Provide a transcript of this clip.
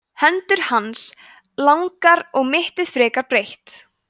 hendur hans langar og mittið frekar breitt